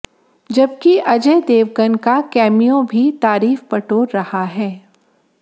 जबकि अजय देवगन का कैमियो भी तारीफ बटोर रहा है